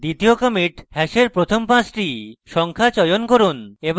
দ্বিতীয় commit hash প্রথম পাঁচটি সংখ্যা চয়ন করুন